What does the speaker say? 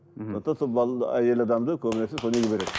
мхм сондықтан сол әйел адамды көбінесе сол неге береді